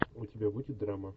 у тебя будет драма